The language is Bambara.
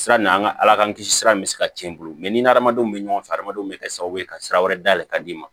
Sira n'an ka ala k'an kisi sira in bɛ se ka tiɲɛ i bolo mɛ n'i ni hadamadenw bɛ ɲɔgɔn fɛ adamadenw bɛ kɛ sababu ye ka sira wɛrɛ dayɛlɛ ka d'i ma